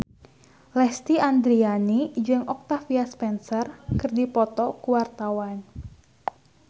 Lesti Andryani jeung Octavia Spencer keur dipoto ku wartawan